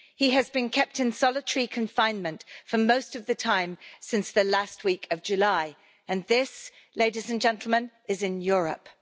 He has been kept in solitary confinement for most of the time since the last week of July and this, ladies and gentlemen, is in Europe.